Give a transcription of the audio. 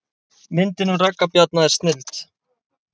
Myndin um Ragga Bjarna er snilld